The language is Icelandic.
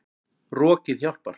Rokið hjálpar.